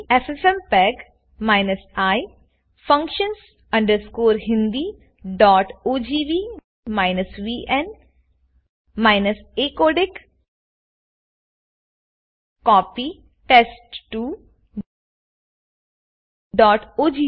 FFmpeg i functions hindiogv vn acodec copy test2ઓગ